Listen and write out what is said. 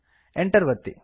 Enter ಒತ್ತಿ